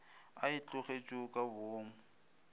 a e tlogetšego ka boomo